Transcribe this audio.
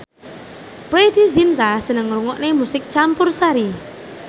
Preity Zinta seneng ngrungokne musik campursari